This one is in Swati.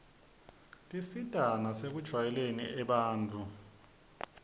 tisita nasekujwayeleni abantfu